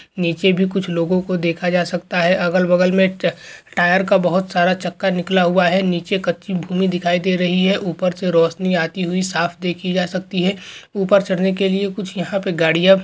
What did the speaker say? नीचे भी कुछ लोगों को देखा जा सकता है अगल-बगल में टायर का बहुत सारा चक्कर निकला हुआ है नीचे कच्ची भूमि दिखाई दे रही है ऊपर से रोशनी आई हुई साफ देखी जा सकती है ऊपर चढ़ने के लिए कुछ गाड़ियां--